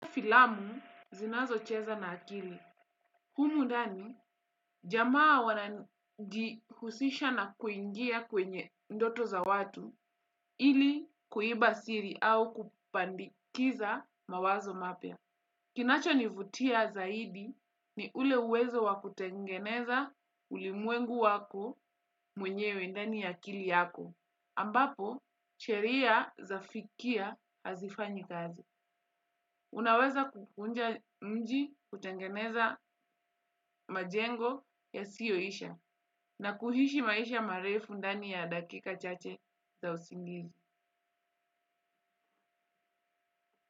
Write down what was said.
Filamu zinazo cheza na akili. Humu dani, jamaa wanajihusisha na kuingia kwenye ndoto za watu ili kuiba siri au kupandikiza mawazo mapya. Kinacho nivutia zaidi ni ule uwezo wakutengeneza ulimwengu wako mwenyewe ndani ya akili yako. Ambapo, sheria za fikia hazifanyi kazi. Unaweza kukunja mji kutengeneza majengo yasiyo isha na kuhishi maisha marefu ndani ya dakika chache za usingizi.